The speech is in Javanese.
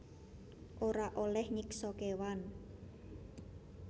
Ora olèh nyiksa kéwan